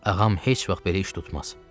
Ağam heç vaxt belə iş tutmaz.